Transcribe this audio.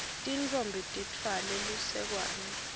tintfombi titfwale lusekwane